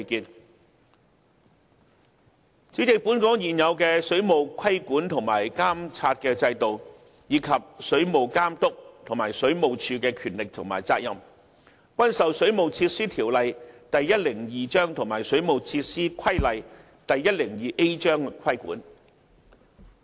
代理主席，本港現有的水務規管和監察制度，以及水務監督和水務署的權力和責任，均受《水務設施條例》及《水務設施規例》規管。